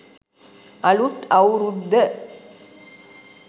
අලුත් අවුරුද්ද